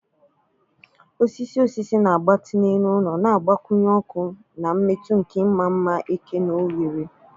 Osisi osisi na-agbatị n'elu ụlọ, na-agbakwunye ọkụ na mmetụ nke ịma mma eke na oghere.